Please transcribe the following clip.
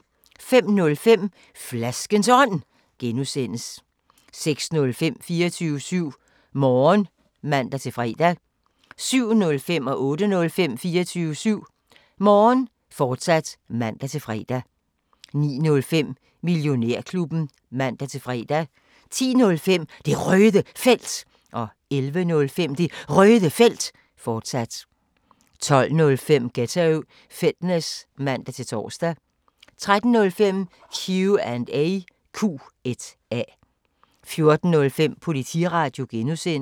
05:05: Flaskens Ånd (G) 06:05: 24syv Morgen (man-fre) 07:05: 24syv Morgen, fortsat (man-fre) 08:05: 24syv Morgen, fortsat (man-fre) 09:05: Millionærklubben (man-fre) 10:05: Det Røde Felt 11:05: Det Røde Felt, fortsat 12:05: Ghetto Fitness (man-tor) 13:05: Q&A 14:05: Politiradio (G)